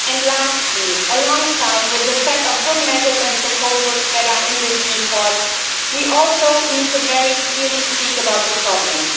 Lastly, alongside the set of good measures and proposals that are in this report, we also need to speak very clearly about the problems.